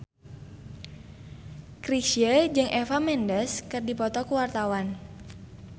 Chrisye jeung Eva Mendes keur dipoto ku wartawan